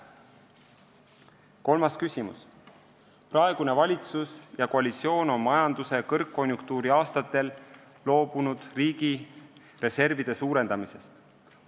Kolmas küsimus: "Praegune valitsus ja koalitsioon on majanduse kõrgkonjunktuuri aastatel loobunud riigi reservide suurendamisest.